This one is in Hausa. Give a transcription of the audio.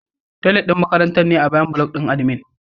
Toilet ɗin makarantar ne a bayan block ɗin admin.